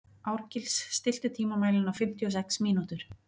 Árgils, stilltu tímamælinn á fimmtíu og sex mínútur.